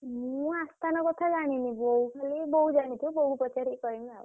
ମୁଁ ଅସ୍ତାନ୍ କଥା ଜାଣିନି ବୋଉ ଜାଣିଥିବ